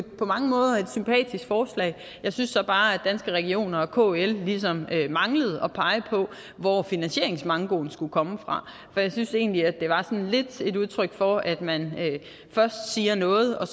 på mange måder et sympatisk forslag jeg synes så bare at danske regioner og kl ligesom manglede at pege på hvor finansieringsmankoen skulle komme fra for jeg synes egentlig at det var lidt et udtryk for at man først siger noget og